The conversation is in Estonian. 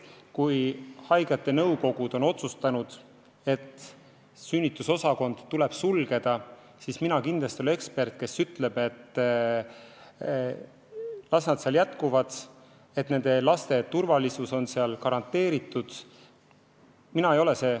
Kui haiglate nõukogud on otsustanud, et sünnitusosakond tuleb sulgeda, siis mina kindlasti ei ole ekspert, kes ütleb, et las nad seal jätkavad, küllap laste turvalisus on seal garanteeritud.